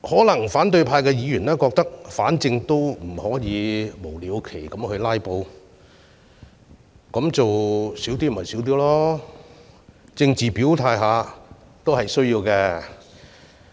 因此，反對派議員可能認為，反正無法無了期地"拉布"，那麼不如少做一些吧，但政治表態也必需的。